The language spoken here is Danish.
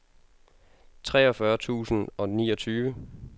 treogfyrre tusind og niogtyve